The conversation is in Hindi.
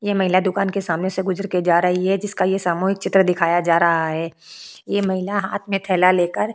ये महिला दुकान के सामने से गुजर के जा रही है जिसका ये सामूहिक चित्र दिखाया जा रहा है ये महिला हाथ में थैला लेकर --